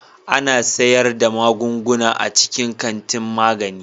Ana sayar da magunguna a cikin kantin magani.